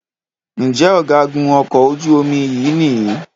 Njé Ọ̀gágun okò ojú omi yí ní?